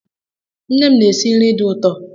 Nne m na-esi nri dị ụtọ